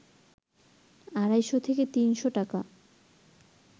আড়াইশ থেকে ৩শ টাকা